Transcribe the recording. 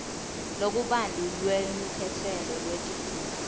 lokubanti lwelukhetselo lwetidzingo